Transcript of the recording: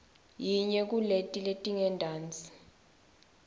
yinye kuleti letingentasi